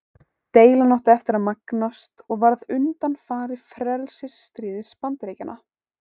Deilan átti eftir að magnast og varð undanfari frelsisstríðs Bandaríkjanna.